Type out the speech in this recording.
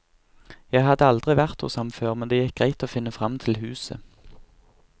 Jeg hadde aldri vært hos ham før, men det gikk greit å finne fram til huset.